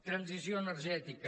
transició energètica